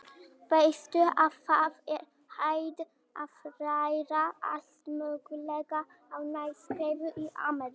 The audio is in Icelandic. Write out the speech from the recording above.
Veistu að það er hægt að læra allt mögulegt á námskeiðum í Ameríku.